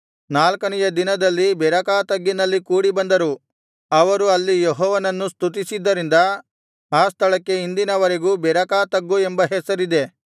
ನಾಲ್ಕನೆಯ ದಿನದಲ್ಲಿ ಬೆರಾಕ ತಗ್ಗಿನಲ್ಲಿ ಕೂಡಿಬಂದರು ಅವರು ಅಲ್ಲಿ ಯೆಹೋವನನ್ನು ಸ್ತುತಿಸಿದ್ದರಿಂದ ಆ ಸ್ಥಳಕ್ಕೆ ಇಂದಿನ ವರೆಗೂ ಬೆರಾಕ ತಗ್ಗು ಎಂಬ ಹೆಸರಿದೆ